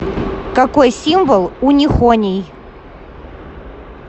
какой символ у нихоний